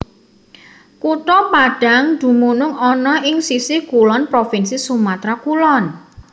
Kutha Padang dumunung ana ing sisih kulon Provinsi Sumatra Kulon